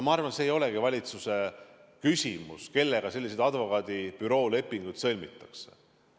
Ma arvan, et see ei olegi valitsuse küsimus, kellega selliseid advokaadibüroo lepinguid sõlmitakse.